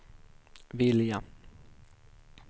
vilja